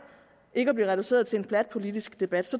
ikke at blive reduceret til en plat politisk debat